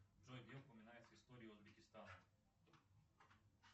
джой где упоминается история узбекистана